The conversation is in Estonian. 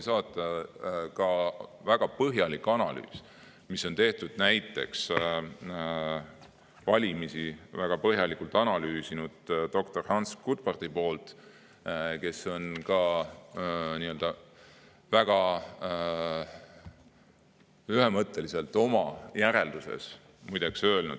Ja võin ka saata väga põhjaliku analüüsi, mille on teinud valimisi väga põhjalikult analüüsinud doktor Hans Gutbrod, kes on teinud väga ühemõttelise järelduse.